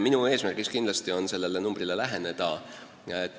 Minu eesmärk on kindlasti sellele arvule läheneda.